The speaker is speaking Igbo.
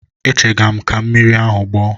Echega m ka mmiri ahụ gbọọ.